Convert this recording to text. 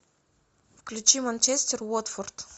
включи манчестер уотфорд